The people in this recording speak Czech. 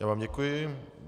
Já vám děkuji.